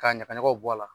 K'a ɲagaɲagaw bɔ a la